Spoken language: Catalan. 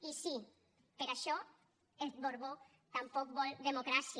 i sí per això el borbó tampoc vol democràcia